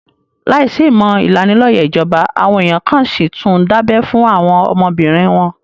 Láìsí ìmọ̀ ìlanilóyẹ̀ ìjọba, àwọn èèyàn kan n síi tún dábẹ́ fún àwọn ọmọbìnrin wọn